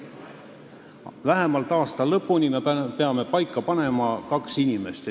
Me peame paika panema kaks inimest, kes on seal vähemalt aasta lõpuni.